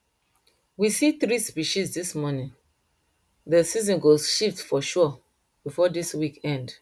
we see three species dis morning dey season go shift for sure before dis week end